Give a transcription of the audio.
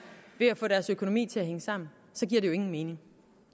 ved at få deres økonomi til hænge sammen så giver det jo ingen mening